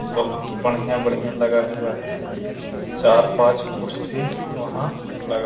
बहुत बढ़िया-बढ़िया लगा हुआ है चार-पांच कुर्सी वहाँ लगा --